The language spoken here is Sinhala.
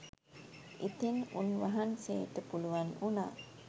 ඉතින් උන්වහන්සේට පුළුවන් වුණා